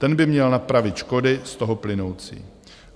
Ten by měl napravit škody z toho plynoucí.